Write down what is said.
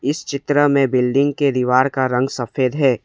इस चित्र में बिल्डिंग के दीवार का रंग सफेद है।